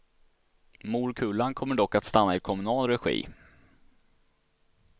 Morkullan kommer dock att stanna i kommunal regi.